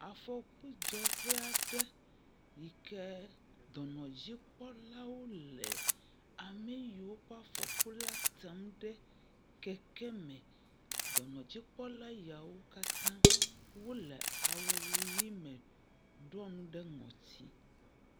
Afɔkudzɔƒe aɖe yi ke dɔnɔdzikpɔlawo le ame yiwo kpɔ afɔku la tem ɖe keke me, dɔnɔdzikpɔla ya wo katã wole awu ʋi me ɖɔ nu ɖe ŋɔti.